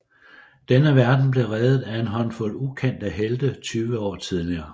Denne verden blev reddet af en håndfuld ukendte helte tyve år tidligere